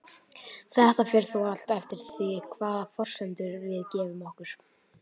Þetta fer þó allt eftir því hvaða forsendur við gefum okkur.